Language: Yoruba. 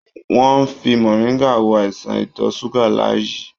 Wọ́n ń fi mọ̀ríngà wo àìsàn ìtọ̀ ṣúgà Láyí.